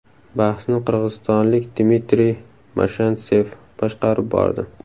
Bahsni qirg‘izistonlik Dmitriy Mashentsev boshqarib bordi .